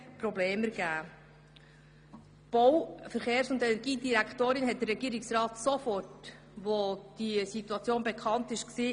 Die Bau-, Verkehrs- und Energiedirektorin hat den Regierungsrat sofort informiert, als dieses Problem bekannt wurde.